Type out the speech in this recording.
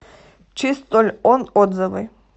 чистольон отзывы